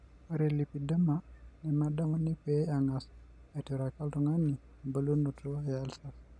Ore lipedema, nemedamuni pee engas aituraki oltung'ani embulunoto eulcer.